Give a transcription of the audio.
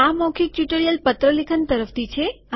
આ મૌખીક ટ્યુટોરીયલ પત્ર લેખન તરફથી છે